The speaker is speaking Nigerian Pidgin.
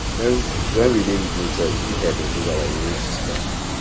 when we dey with nature e fit help improve our immume system